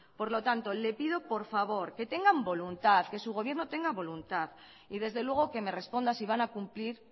por lo tanto le pido por favor que tengan voluntad que su gobierno tenga voluntad y desde luego que me responda si van a cumplir